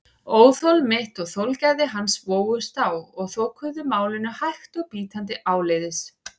Óþol mitt og þolgæði hans vógust á og þokuðu málinu hægt og bítandi áleiðis.